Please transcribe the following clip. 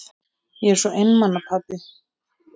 Ég er svo einmana pabbi.